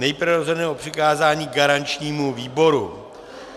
Nejprve rozhodneme o přikázání garančnímu výboru.